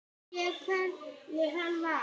Man ég hver hann var?